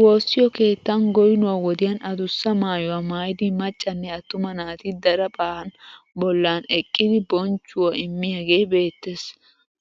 Woossiyo keettan goyinuwa wodiyan adussa maayuwa maayidi maccanne atumaa naati daraphphan bollan eqqidi bonchchuwa immiyaagee beettes.